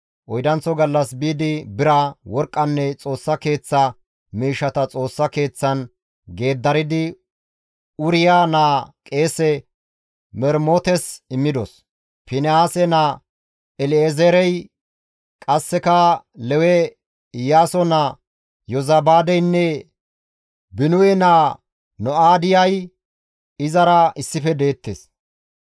Oydanththo gallas biidi bira, worqqanne Xoossa Keeththa miishshata Xoossa Keeththan geeddaridi Uriya naa qeese Mermotes immidos; Finihaase naa El7ezeerey, qasseka Lewe Iyaaso naa Yozabaadeynne Binuwe naa No7aadiyay izara issife deettes.